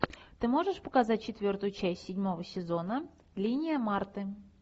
ты можешь показать четвертую часть седьмого сезона линия марты